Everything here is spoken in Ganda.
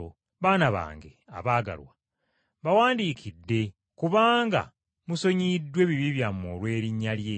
Baana bange abaagalwa, mbawandiikidde kubanga musonyiyiddwa ebibi byammwe olw’erinnya lye.